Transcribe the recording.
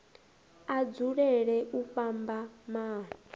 a dzulele u vhamba maano